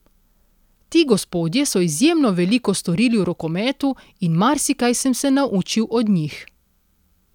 Ti gospodje so izjemno veliko storili v rokometu in marsikaj sem se naučil od njih.